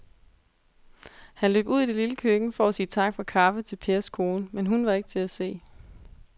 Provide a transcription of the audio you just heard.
Han løb ud i det lille køkken for at sige tak for kaffe til Pers kone, men hun var ikke til at se.